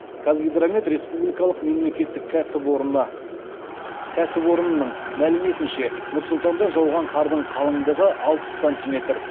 қазгидромет республикалық мемлекеттік кәсіпорынының мәліметінше нұр сұлтанда жауған қардың қалыңдығы алпыс сантиметр